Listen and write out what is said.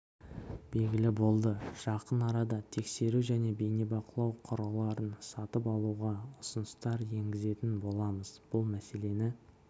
белгілі болды жақын арада тексеру және бейнебақылау құрылғыларын сатып алуға ұсыныстар енгізетін боламыз бұл мәселені